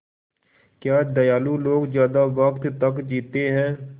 क्या दयालु लोग ज़्यादा वक़्त तक जीते हैं